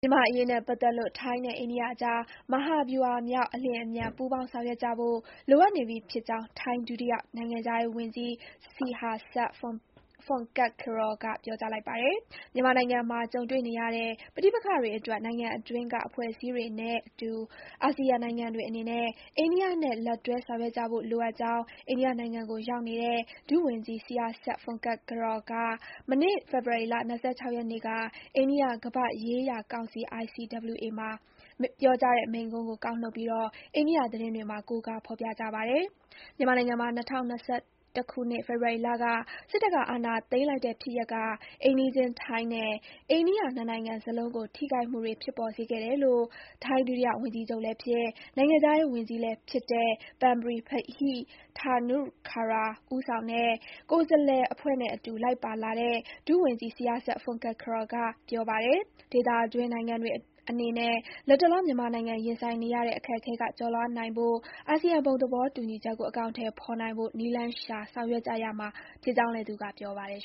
မြန်မာ့အရေးနဲ့ပတ်သက်လို့ ထိုင်းနဲ့ အိန္ဒိယအကြား မဟာဗျူဟာမြောက် အလျင်အမြန် ပူးပေါင်းဆောင်ရွက်ကြဖို့ လိုအပ်နေပြီဖြစ်ကြောင်း ထိုင်းဒုတိယနိုင်ငံခြားရေးဝန်ကြီး Sihasak Phuangketkeow က ပြောကြားလိုက်ပါတယ်။ မြန်မာနိုင်ငံမှာ ကြုံတွေ့နေရတဲ့ ပဋိပက္ခတွေအတွက် နိုင်ငံအတွင်းက အဖွဲ့အစည်းတွေနဲ့အတူ အာဆီယံနိုင်ငံတွေအနေနဲ့ အိန္ဒိယနဲ့ လက်တွဲဆောင်ရွက်ကြဖို့လိုအပ်ကြောင်း အိန္ဒိယနိုင်ငံကိုရောက်နေတဲ့ ဒုဝန်ကြီး Sihasak Phuangketkeow က မနေ့ ဖေဖော်ဝါရီ ၂၆ ရက်နေ့က အိန္ဒိယ ကမ္ဘာ့ရေးရာကောင်စီ (ICWA) မှာ ပြောကြားတဲ့မိန့်ခွန်းကို ကောက်နုတ်ပြီး အိန္ဒိယသတင်းတွေမှာ ကိုးကား ဖော်ပြကြပါတယ်။ မြန်မာနိုင်ငံမှာ ၂၀၂၁ ဖေဖော်ဝါရီလက စစ်တပ်က အာဏာသိမ်းလိုက်တဲ့ဖြစ်ရပ်က အိမ်နီးချင်း ထိုင်းနဲ့ အိန္ဒိယ နှစ်နိုင်ငံစလုံးကို ထိခိုက်မှုတွေ ဖြစ်ပေါ်စေခဲ့တယ်လို့ ထိုင်း ဒုတိယဝန်ကြီးချုပ်လည်းဖြစ်၊ နိုင်ငံခြားရေးဝန်ကြီးလည်းဖြစ်တဲ့ Parnpree Bahiddha-Nukara ဦးဆောင်တဲ့ ကိုယ်စားလှယ်အဖွဲ့နဲ့အတူ လိုက်ပါလာတဲ့ ဒုဝန်ကြီး Sihasak Phuangketkeow က ပြောပါတယ်။ ဒေသတွင်းနိုင်ငံတွေအနေနဲ့ လတ်တလော မြန်မာနိုင်ငံ ရင်ဆိုင်နေရတဲ့ အခက်အခဲက ကျော်လွှားနိုင်ဖို့ အာဆီယံ ဘုံသဘောတူညီချက်ကို အကောင်အထည်ဖော်နိုင်ဖို့ နည်းလမ်းရှာ ဆောင်ရွက်ကြရမှာဖြစ်ကြောင်းလည်း သူက ပြောပါတယ်